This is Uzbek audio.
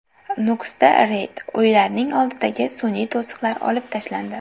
Nukusda reyd: uylarning oldidagi sun’iy to‘siqlar olib tashlandi.